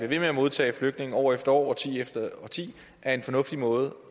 ved med at modtage flygtninge år efter årti efter årti er en fornuftig måde